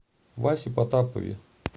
васе потапове